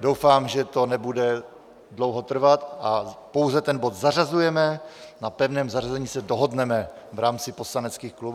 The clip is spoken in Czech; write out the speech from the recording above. doufám, že to nebude dlouho trvat a pouze ten bod zařazujeme, na pevném zařazení se dohodneme v rámci poslaneckých klubů.